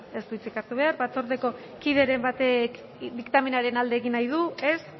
ez du hitzik hartu behar batzordeko kideren batek diktamenaren alde egin nahi du ez